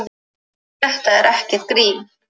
Hverjir eru englar?